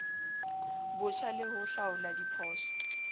botjha le ho hlaola diphoso